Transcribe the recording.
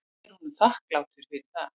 Ég er honum þakklátur fyrir það.